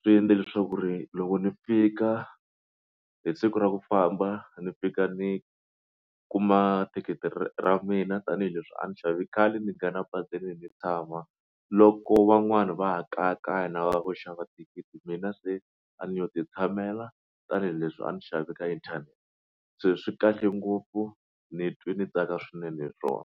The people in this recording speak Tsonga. swi endle leswaku ri loko ni fika hi siku ra ku famba ni fika ni kuma thikithi ra mina tanihileswi a ni xave khale ni nghena basini ni tshama loko van'wani va ha kayakaya na va ku xava thikithi mina se a ni yo ti tshamela tanihileswi a ni xave ka inthanete se swi kahle ngopfu ni twe ndzi tsaka swinene hi rona.